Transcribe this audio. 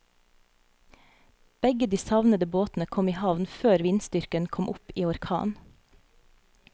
Begge de savnede båtene kom i havn før vindstyrken kom opp i orkan.